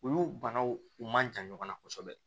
Olu banaw u ma jan ɲɔgɔnna kosɛbɛ